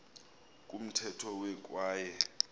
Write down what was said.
kumthetho we kwaye